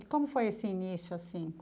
E como foi esse início assim?